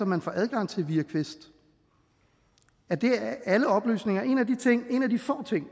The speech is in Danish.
man får adgang til via quest er det alle oplysninger en af de få ting